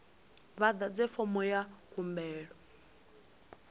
vha ḓadze fomo ya khumbelo